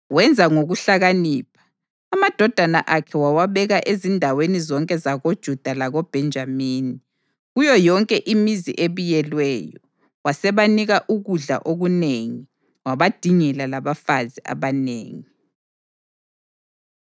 Wenza ngokuhlakanipha, amadodana akhe wawabeka ezindaweni zonke zakoJuda lakoBhenjamini, kuyo yonke imizi ebiyelweyo. Wasebanika ukudla okunengi, wabadingela labafazi abanengi.